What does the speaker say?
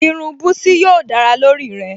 Irun búsí yóò dára lórí rẹ̀